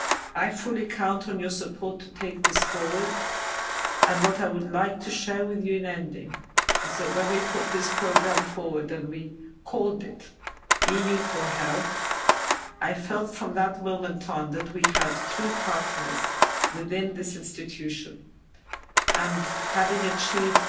I fully count on your support to take this forward, and what I would like to share with you in ending is that when we put this programme forward, and we called it EU4Health, I felt from that moment on that we had true partners within this institution and having achieved